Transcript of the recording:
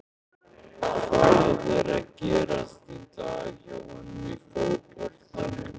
Hvað er að gerast í dag hjá honum í fótboltanum?